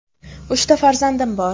Uchta farzandim bor.